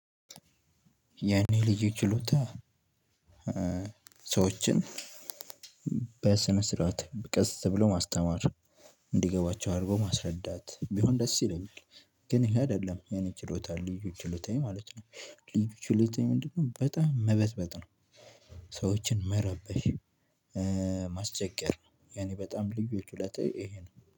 የኔ ልዩ ችሎታ ሰዎችን በስነ ስርዓት በቀስ ተብሎ ማስተማር እንዲገባቸው አርጎ ማስረዳት ቢሆን ደስ ይለኛል። ግን ይሄ አይደለም የኔ ችሎታ ልዩ ችሎታዬ ማለት ነው። ልዩ ችሎታዬ ምንድነው? በጣም መበጥበጥ ነው። ሰዎችን መረበሽ። ማስቸገር የኔ በጣም ልዩ ልዩ ችሎታዬ ይሄ ነው